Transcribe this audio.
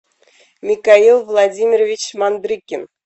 михаил владимирович мандрыкин